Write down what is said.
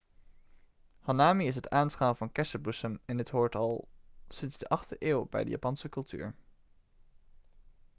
hanami is het aanschouwen van kersenbloesem en dit hoort al sinds de 8e eeuw bij de japanse cultuur